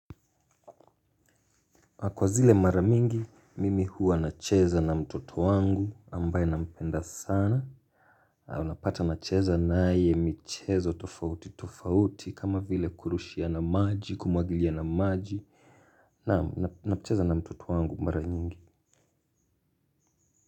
Kwa zile mara mingi mimi huwa nacheza na mtoto wangu ambaye nampenda sana. Unapata nacheza naye michezo tofauti tofauti kama vile kurushiana maji kumwagiliana maji naam nacheza na mtoto wangu mara nyingi.